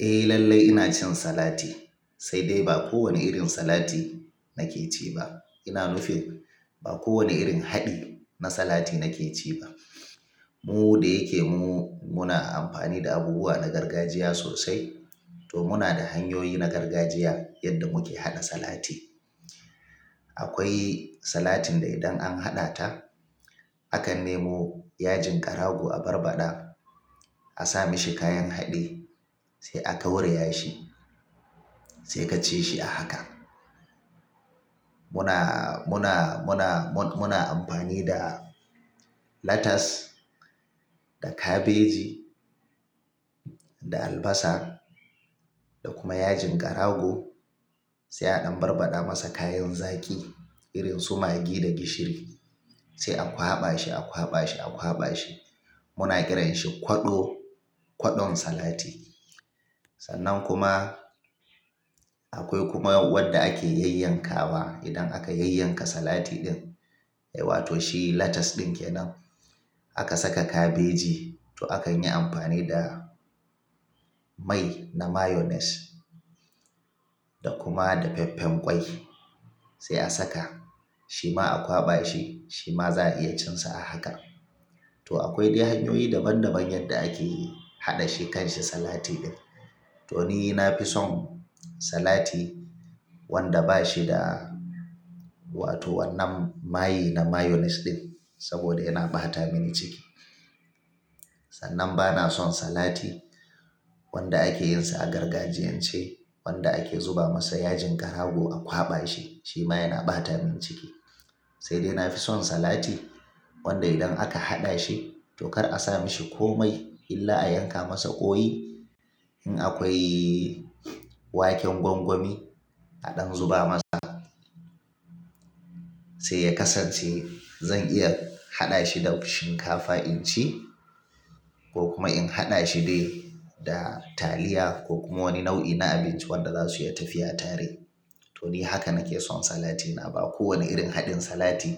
Eh lallai ina cin salati, sai dai ba kowane irin salati nake ci ba. Ina nufin ba kowane irin haɗi na salati nake ci ba. Mu da yake mu muna amfani da abubuwa na gargajiya sosai, to muna da hanyoyi na gargajiya yadda muke haɗa salati. Akwai salatin da idan an haɗa ta, akan nemo yajin karago a barbaɗa, a sa mishi kayan haɗi, sai a gauraya shi, sai ka ci shi a haka. Muna, muna, muna, muna amfani da lettuce da kabeji da albasa da kuma yajin karago sai a ɗan barbaɗa masa kayan zaki irin su magi da gishiri sai a kwaɓa shi, a kwaɓa shi, a kwaɓa shi. Muna kiranshi kwaɗo, kwaɗon salati. Sannan kuma, akwai kuma wadda ake yayyanka wa idan aka yayyanka salati ɗin, eh wato shi lettuce ɗin kenan aka saka kabeji toh akan yi amfani da mai, na mayonnaise da kuma dafeffen ƙwai sai a saka shi ma a kwaɓa shi, shi ma za'a iya cinsa a haka. Toh, akwai dai hanyoyi daban daban yadda ake haɗa shekan shi salati ɗin. Toh, ni na fi son salati wanda ba shi da wato wannan mayi na mayonnaise ɗin, saboda yana ɓata mini ciki. Sannan bana son salati wanda ake yin sa a gargajiyan ce, wanda ake zuba masa yajin karago a kwaɓa shi, shi ma yana ɓata min ciki. Sai dai na fi son salati wanda idan aka haɗa shi, toh kar a sa mishi komai illa a yanka masa ƙoyi in akwai waken gwangwami a ɗan zuba masa sai ya kasance zan iya haɗa shi da shinkafa in ci ko kuma in haɗa shi dai da taliya ko kuma wani nau'i na abinci wanda za su yi tafiya tare. Toh, ni haka nake son salatina, ba kowane irin haɗin salati